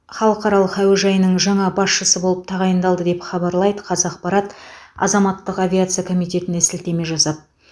халықаралық әуежайының жаңа басшысы болып тағайындалды деп хабарлайды қазақпарат азаматтық авиация комитетіне сілтеме жасап